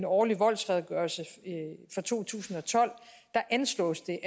årlige voldsredegørelse for to tusind og tolv ansloges det at